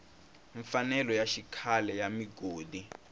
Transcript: mfanelo ya xikhale ya migodi